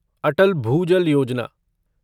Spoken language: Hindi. अटल भूजल योजना